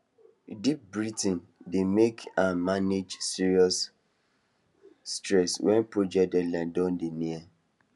deep breathing dey help am manage serious stress when project deadline don dey near